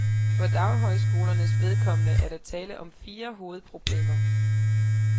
For daghøjskolernes vedkommende er der tale om fire hovedproblemer.